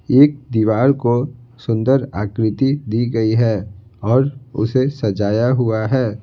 एक दीवार को सुंदर आकृति दी गई है और उसे सजाया हुआ है।